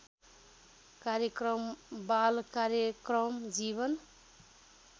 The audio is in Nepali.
कार्यक्रम बालकार्यक्रम जीवन